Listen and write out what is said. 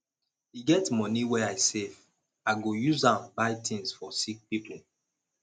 e get moni wey i save i go use am buy tins for sick pipo